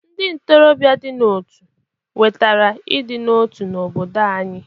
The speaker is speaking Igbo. Ndị ntorobịa dị n'otu wetara ịdị n'otu n'obodo anyị.